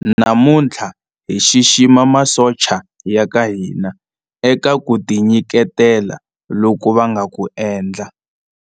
namuntlha hi xixima masocha ya ka hina eka ku tinyiketela loku va nga ku endla